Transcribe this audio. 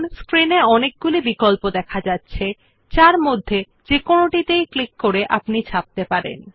screen এ অনেকগুলি বিকল্প দেখা যাচ্ছে যার মধ্যে থেকে যেকোনোটিতে ক্লিক করে আপনি ছাপতে পারেন